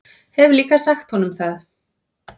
Hef líka sagt honum það.